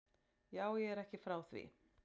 Jú, ég er ekki frá því.